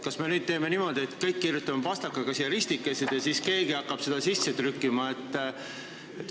Kas me nüüd teeme niimoodi, et teeme kõik pastakaga siia ristikesed ja siis keegi hakkab neid kuhugi sisse trükkima?